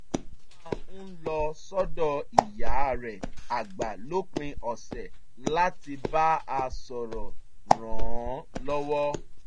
ó máa ń lọ sọ́dọ̀ ìyá rẹ̀ àgbà lópin ọ̀sẹ̀ láti bá a sọ̀rọ̀ ràn án lọ́wọ́